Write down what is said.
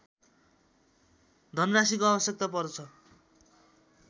धनराशिको आवश्यकता पर्छ